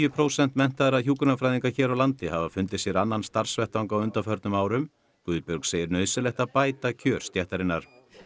prósent menntaðra hjúkrunarfræðinga hér á landi hafa fundið sér annan starfsvettvang á undanförnum árum Guðbjörg segir nauðsynlegt að bæta kjör stéttarinnar